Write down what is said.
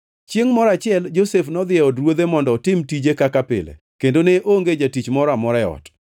Chiengʼ moro achiel Josef nodhi e od ruodhe mondo otim tije kaka pile kendo ne onge jatich moro amora e ot.